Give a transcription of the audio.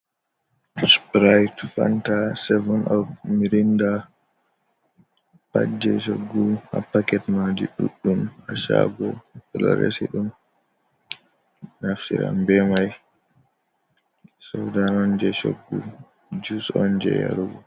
Sprit, fanta, seven op, mirinda, pat je choggu ha paket majum ɗuɗɗum ha shago ɓe ɗo resi ɗum naftira be mai, sodan on je shoggu, jus on je yarugo.